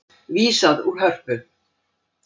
Vísað úr Hörpu